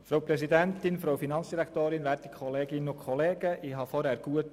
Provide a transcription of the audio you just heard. Ich habe der Finanzdirektorin gut zugehört.